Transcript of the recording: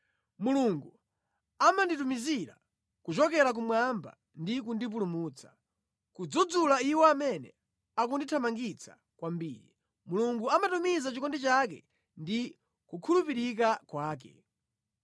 Mulungu amanditumizira kuchokera kumwamba ndi kundipulumutsa, kudzudzula iwo amene akundithamangitsa kwambiri. Mulungu amatumiza chikondi chake ndi kukhulupirika kwake.